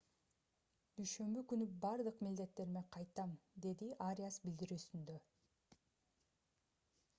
дүйшөмбү күнү бардык милдеттериме кайтам - деди ариас билдирүүсүндө